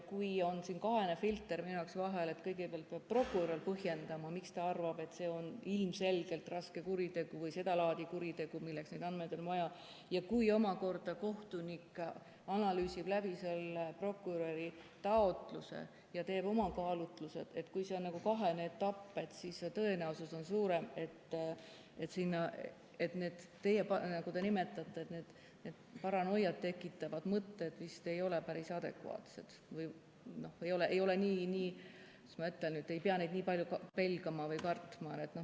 Kui siin on kahene filter minu jaoks vahel, et kõigepealt peab prokurör põhjendama, miks ta arvab, et see on ilmselgelt raske kuritegu või seda laadi kuritegu, milleks neid andmeid on vaja, ja kui omakorda kohtunik analüüsib läbi prokuröri taotluse ja teeb oma kaalutlused, siis see tõenäosus on suurem, et, nagu te nimetate, paranoiat tekitavad mõtted vist ei ole päris adekvaatsed või, kuidas ma ütlen, te ei pea neid nii palju pelgama või kartma.